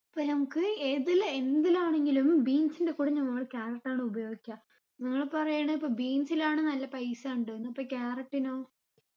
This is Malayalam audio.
ഇപ്പൊ നമ്മക്ക് ഏതില് എന്തിലാണെങ്കിലും beans ൻറെ കൂടെ നമ്മള് carrot ആണ് ഉപയോഗിക്ക ഇങ്ങള് പറയണ് ഇപ്പൊ beans ലാണ് നല്ല പൈസ ഇണ്ട്ന്ന് അപ്പൊ carrot നോ